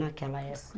Naquela época.